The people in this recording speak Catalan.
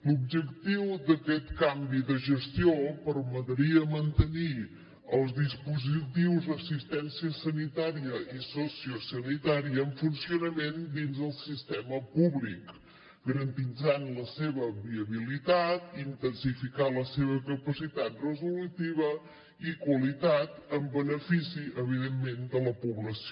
l’objectiu d’aquest canvi de gestió permetria mantenir els dispositius d’assistència sanitària i sociosanitària en funcionament dins del sistema públic garantint la seva viabilitat intensificant la seva capacitat resolutiva i qualitat en benefici evidentment de la població